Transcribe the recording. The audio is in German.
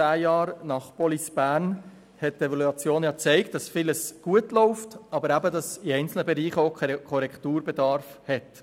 Gut zehn Jahre nach Police Bern hat die Evaluation gezeigt, dass vieles gut läuft, dass aber eben in einzelnen Bereichen auch Korrekturbedarf besteht.